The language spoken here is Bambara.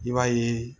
I b'a ye